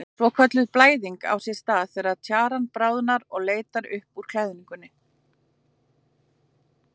Svokölluð blæðing á sér stað þegar tjaran bráðnar og leitar upp úr klæðingunni.